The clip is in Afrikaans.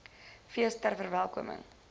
fees ter verwelkoming